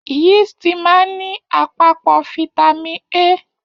Yiisti máa n ní àpapọ fitami A.